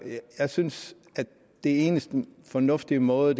synes at den eneste fornuftige måde at